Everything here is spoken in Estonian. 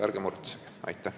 Ärge muretsege!